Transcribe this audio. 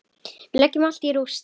Við leggjum allt í rúst.